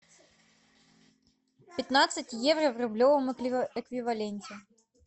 пятнадцать евро в рублевом эквиваленте